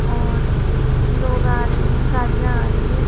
और लोग आ रहे हैं गाड़ियाँ आ रही है।